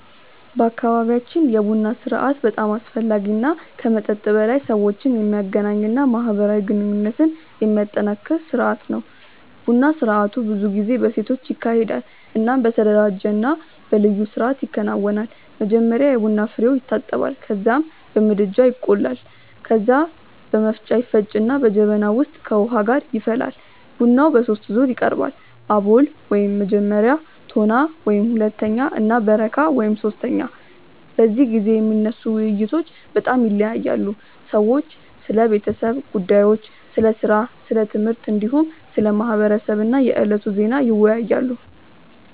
በአካባቢያችን የቡና ስርአት በጣም አስፈላጊ እና ከመጠጥ በላይ ሰዎችን የሚያገናኝ እና ማህበራዊ ግንኙነትን የሚያጠናክር ስርአት ነው። ቡና ስርአቱ ብዙ ጊዜ በሴቶች ይካሄዳል እናም በተደራጀ እና በልዩ ስርአት ይከናወናል። መጀመሪያ የቡና ፍሬዉ ይታጠባል ከዚያም በምድጃ ላይ ይቆላል። ከዚያ በመፍጫ ይፈጭና በጀበና ውስጥ ከውሃ ጋር ይፈላል። ቡናው በሶስት ዙር ይቀርባል፤ አቦል (መጀመሪያ)፣ ቶና (ሁለተኛ) እና በረካ (ሶስተኛ)። በዚህ ጊዜ የሚነሱ ውይይቶች በጣም ይለያያሉ። ሰዎች ስለ ቤተሰብ ጉዳዮች፣ ስለ ሥራ፣ ስለ ትምህርት፣ እንዲሁም ስለ ማህበረሰብ እና የዕለቱ ዜና ይወያያሉ።